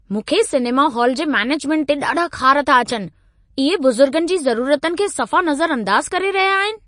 मूंखे cinema hall जे management ते ॾाढा ख़ार था अचनि। इहे बुज़ुर्गनि जी ज़रुरतुनि खे सफ़ा नज़रअंदाज़ करे रहिया आहिनि।